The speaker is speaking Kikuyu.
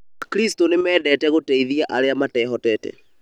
Akristo nĩmendete gũteithia arĩa matehotete.